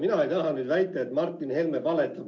Mina ei taha nüüd väita, et Martin Helme valetab.